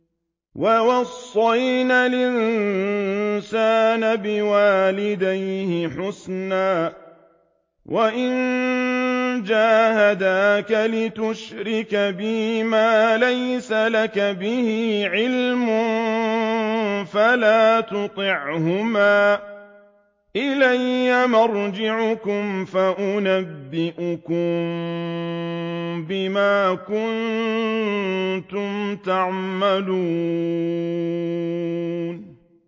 وَوَصَّيْنَا الْإِنسَانَ بِوَالِدَيْهِ حُسْنًا ۖ وَإِن جَاهَدَاكَ لِتُشْرِكَ بِي مَا لَيْسَ لَكَ بِهِ عِلْمٌ فَلَا تُطِعْهُمَا ۚ إِلَيَّ مَرْجِعُكُمْ فَأُنَبِّئُكُم بِمَا كُنتُمْ تَعْمَلُونَ